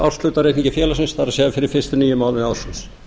árshlutareikningi félagsins það er fyrir fyrstu níu mánuði ársins